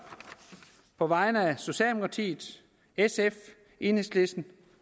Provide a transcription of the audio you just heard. på vegne af socialdemokratiet sf enhedslisten